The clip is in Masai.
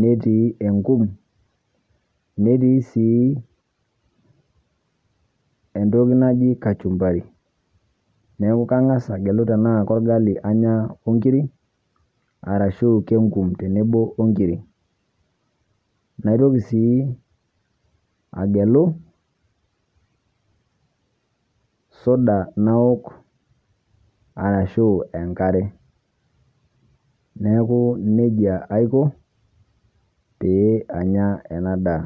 netii enkum, netii sii entoki naji kachumbari. Neeku kang'asa agelu tenaa korgali anya o nkirik arashu keng'um tenebo o nkirik. Naitoki sii agelu soda nawok arashu enkare, neeku neija aiko pee anya ena daa.